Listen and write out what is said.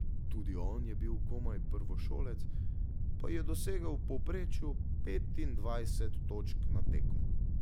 Tudi on je bil komaj prvošolec, pa je dosegal v povprečju petindvajset točk na tekmo.